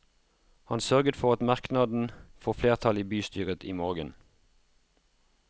Han sørget for at merknaden får flertall i bystyret i morgen.